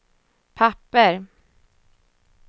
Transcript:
papper